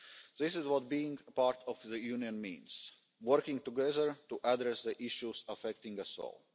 This is what being part of the Union means working together to address the issues affecting us